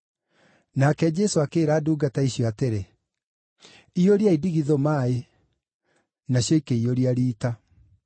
Nake Jesũ akĩĩra ndungata icio atĩrĩ, “Iyũriai ndigithũ maaĩ”; nacio ikĩiyũria riita.